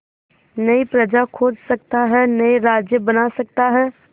नई प्रजा खोज सकता है नए राज्य बना सकता है